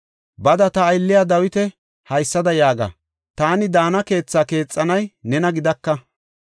“Bada ta aylliya Dawita haysada yaaga; ‘Taani daana keethaa keexanay nena gidaka.